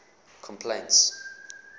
complaints